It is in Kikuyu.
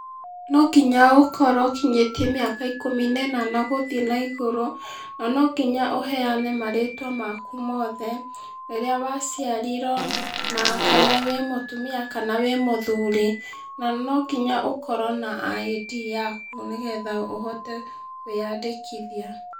No nginya ũkorwo ũkinyĩtie mĩaka ikũmi na ĩnana gũthiĩ na igũrũ, no nginya ũheane marĩtwa maku mothe, rĩrĩa waciarirwo, na kana wĩ mũtumia kana wĩ mũthuri. Na no nginya ũkorwo na ID yaku nĩgetha ũhote kũĩyandĩkithia.